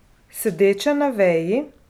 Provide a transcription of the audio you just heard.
Sedeče na veji.